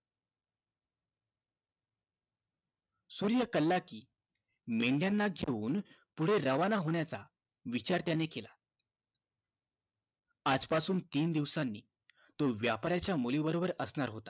सूर्य कलला कि मेंढ्याना घेऊन पुढे रावण होण्याचा विचार त्याने केला आजपासून तीन दिवसांनी तो व्यापाराच्या मुलीबरोबर असणार होता